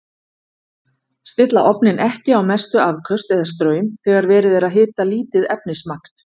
Stilla ofninn ekki á mestu afköst eða straum þegar verið er að hita lítið efnismagn.